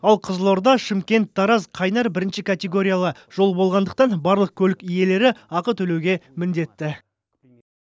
ал қызылорда шымкент тараз қайнар бірінші категориялы жол болғандықтан барлық көлік иелері ақы төлеуге міндетті